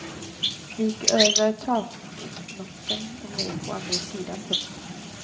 De gick över taknocken och ner på andra sidan. punkt